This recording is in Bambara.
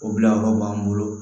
O bilayɔrɔ b'an bolo